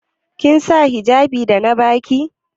Kin sa hijjabin da na ba ki?